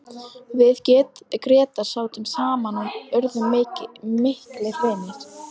Við Grétar sátum saman og urðum miklir vinir.